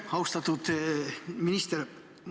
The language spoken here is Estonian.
Austatud minister!